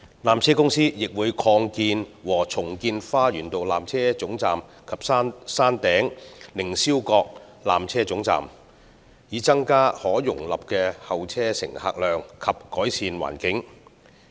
纜車公司亦會擴建和重建花園道纜車總站及山頂凌霄閣纜車總站，以增加可容納的候車乘客量及改善環境。